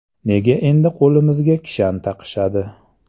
Nega endi qo‘limizga kishan taqishadi?